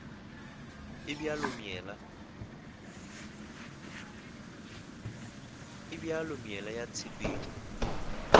e bjalo meela ya tshepetšo